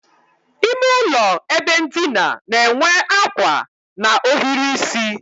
Ímé ụlọ ebe ndina n'enwe ákwà na ohiri isi